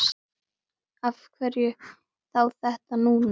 Af hverju þá þetta núna?